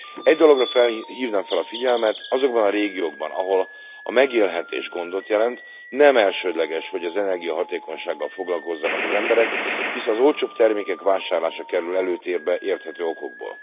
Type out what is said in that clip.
Egy dologra hívnám fel a figyelmet azokban a régiókban, ahol a megélhetés gondot jelent nem elsődleges, hogy az energiahatékonysággal foglalkozzanak az emberek, hisz az olcsóbb termékek vásárlása kerül előtérbe érthető okokból.